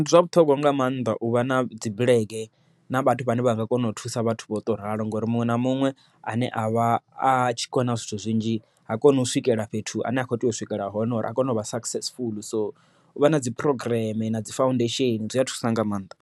Ndi zwa vhuṱhogwa nga maanḓa u vha na dzi bulege na vhathu vhane vha nga kona u thusa vhathu vho to ralo ngori muṅwe na muṅwe ane avha atshi kona zwithu zwinzhi, ha koni u swikela fhethu ane a kho tea u swikela hone uri a kone u vha successful so u vha na dzi phurogireme na dzi faundesheni zwi a thusa nga maanḓa.